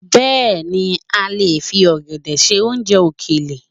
Bẹ́ẹ̀ni a lè fi ọ̀gẹ̀dẹ̀ ṣe oúnjẹ òkèlè